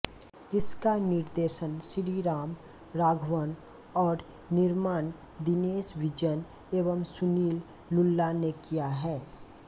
जिसका निर्देशन श्रीराम राघवन और निर्माण दिनेश विजन एवं सुनील लुल्ला ने किया है